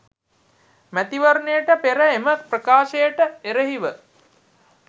මැතිවරණයට පෙර එම ප්‍රකාශයට එරෙහිව